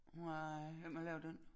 Nej hvem har lavet den